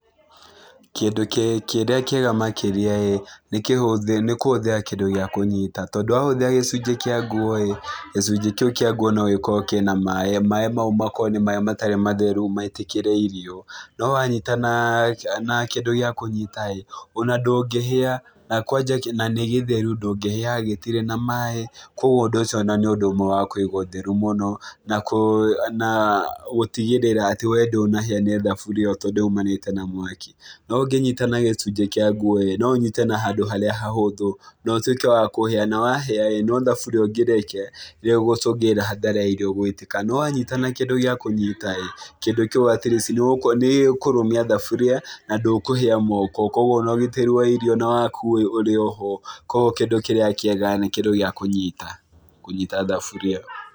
Kĩndũ kĩrĩa kĩega makĩria ĩĩ, nĩ kũhũthĩra kĩndũ gĩa kũnyita tondũ wahũthĩra gĩcunjĩ kĩa nguo ĩ, gĩcunjĩ kĩu kĩa nguo no gĩkorwo kĩna maaĩ, maaĩ mau makorwo nĩ maaĩ matarĩ matheru maitĩkĩre irio. No wanyita na kĩndũ gĩa kũnyita ĩ ona ndũngĩhĩa na kwanja ona nĩ gĩtheru, ndũngĩhĩa gĩtirĩ na maaĩ, koguo ũndũ ũcio ona nĩ ũndũ ũmwe wa kũiga ũtheru mũno, na gũtigĩrĩra atĩ we ndũnahĩa nĩ thaburĩa ĩyo tondũ yumanĩte na mwaki. No ũngĩnyita na gĩcunjĩ kĩa nguo ĩ, no ũnyite na handũ harĩa hahũthũ na ũtuĩke wa kũhĩa, na wahĩa ĩ thaburia ũngĩrekia nĩ ũgũcungĩrĩria hathara ya irio gũitĩka. No wanyita na kĩndũ gĩa kũnyita ĩ kĩndũ kĩu at least nĩ gĩkũrũmia thaburia na ndũkũhĩa moko, koguo na ũgitĩri wa irio na waku ũrĩ oho. Koguo kĩndũ kĩrĩa kĩega nĩ kĩndũ gĩa kũnyita, kũnyita thaburia.